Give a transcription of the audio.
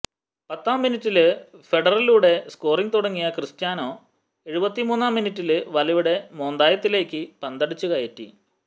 പത്താം മിനിറ്റില് ഹെഡറിലൂടെ സ്കോറിംഗ് തുടങ്ങിയ ക്രിസ്റ്റ്യാനൊ എഴുപത്തിമൂന്നാം മിനിറ്റില് വലയുടെ മോന്തായത്തിലേക്ക് പന്തടിച്ചുകയറ്റി